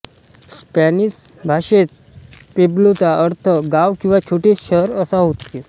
Spanish भाषेत पेब्लोचा अर्थ गाव किंवा छोटे शहर असा होते